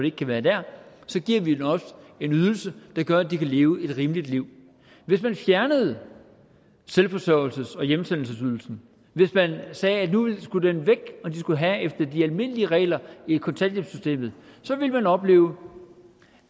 ikke kan være der så giver vi dem også en ydelse der gør at de kan leve et rimeligt liv hvis man fjernede selvforsøgelses og hjemsendelsesydelsen hvis man sagde at nu skulle den væk og de skulle have efter de almindelige regler i kontanthjælpssystemet så ville man opleve